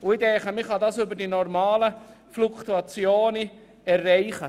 Ich denke, man kann das formulierte Ziel über die normale Fluktuation erreichen.